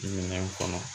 Minɛn kɔnɔ